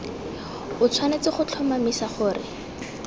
o tshwanetse go tlhomamisa gore